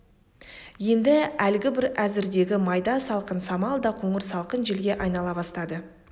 енді әлгібір әзірдегі майда салқын самал да қоңыр салқын желге айнала бастады